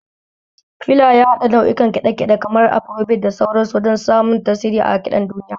Fela ya haɗa nau'ukan kiɗa kiɗe, kamar Afarobit da sauran su, wajen samun tasiri a kiɗan duniya.